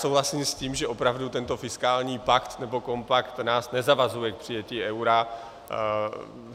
Souhlasím s tím, že opravdu tento fiskální pakt nebo kompakt nás nezavazuje k přijetí eura.